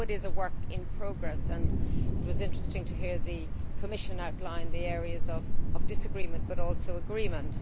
I know it is a work in progress and it was interesting to hear the Commission outline the areas of disagreement but also agreement.